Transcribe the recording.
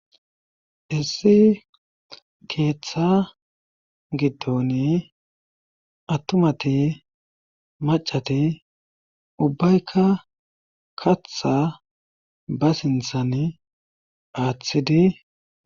Issi keeththa giddon attumati macati ubbaykka katha ba sinthan aaththidi.